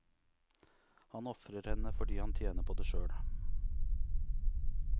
Han ofrer henne fordi han tjener på det sjøl.